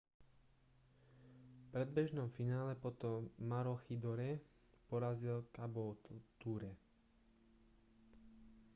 v predbežnom finále potom maroochydore porazil caboolture